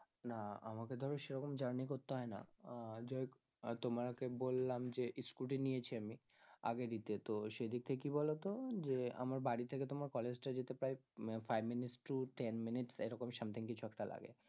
না আমাকে ধরো সেরকম journey করতে হয় না আহ যাইহোক আহ তোমাকে বললাম যে scooty নিয়েছি আমি আগে দিতে তো সেদিক থেকে কি বলতো, যে আমার বাড়ি থেকে তোমার college টা যেতে প্রায় উম five minutes to ten minutes এইরকম something কিছু একটা লাগে,